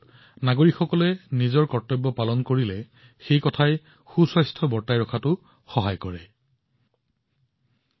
আমি নাগৰিক হিচাপে আমাৰ কৰ্তব্য পালন কৰোঁ সেয়া অনাময় পুষ্টি বা টীকাকৰণেই হওক এই সকলো প্ৰচেষ্টাই স্বাস্থ্যৱান হৈ থকাত সহায় কৰে